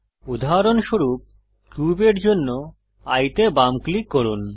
উদাহরণস্বরূপ কিউবের জন্য এয়ে তে বাম ক্লিক করুন